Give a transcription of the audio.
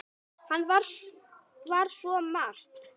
Hann var svo margt.